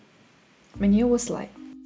міне осылай